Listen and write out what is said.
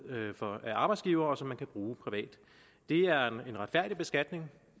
af arbejdsgivere og som man kan bruge privat det er en retfærdig beskatning